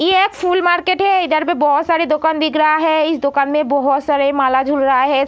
ये एक फूल मार्केट है। इधर में बोहोत सारी दुकान दिख रहा है। इस दुकान में बोहोत सारे माला झूल रहा है।